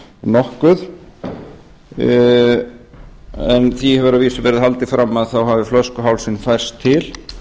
nokkuð en því hefur að vísu verið haldið fram að þá hafi flöskuhálsinn færst til